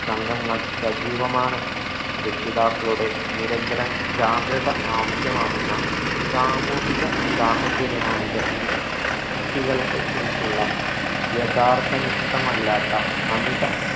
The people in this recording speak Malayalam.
സംഘങ്ങൾ സജീവമാണ് രക്ഷിതാക്കളുടെ നിരന്തരം ജാഗ്രത ആവശ്യമാകുന്ന സാമൂഹിക സാഹചര്യമാണിത് കുട്ടികൾക്ക് കുറിച്ചുള്ള യഥാർത്ഥ നിഷ്ഠമല്ലാത്ത അമിത